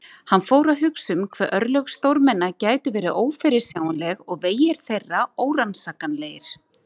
Hann fór að hugsa um hve örlög stórmenna gætu verið ófyrirsjáanleg og vegir þeirra órannsakanlegir.